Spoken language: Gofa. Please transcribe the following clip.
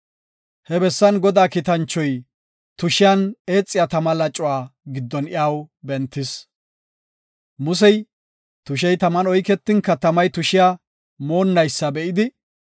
He bessan Godaa Kiitanchoy tushiyan eexiya tama lacuwa giddon iyaw bentis. Musey tushey taman oyketinka tamay tushiya moonnaysa be7idi,